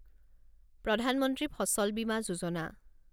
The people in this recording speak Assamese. প্ৰধান মন্ত্ৰী ফচল বিমা যোজনা